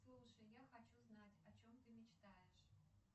слушай я хочу знать о чем ты мечтаешь